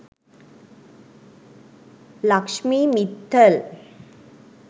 lakshmi mittal